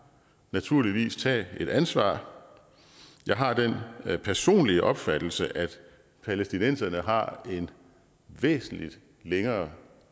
naturligvis tage et ansvar jeg har den personlige opfattelse at palæstinenserne har en væsentlig længere